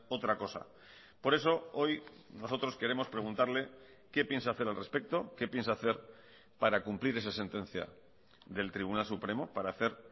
otra cosa por eso hoy nosotros queremos preguntarle qué piensa hacer al respecto qué piensa hacer para cumplir esa sentencia del tribunal supremo para hacer